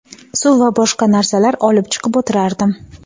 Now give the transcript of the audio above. suv va boshqa narsalar olib chiqib o‘tirardim.